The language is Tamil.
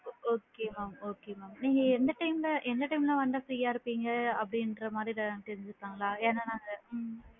Okay mam okay ma'am நீங்க எந்த time ல எந்த time ல வந்தா free யா இருப்பிங்க அப்படிங்கற மாதிரி ஏதாது தெரிஞ்சுக்கலான்களா ஏன்னா நாங்க எத்தன மணி?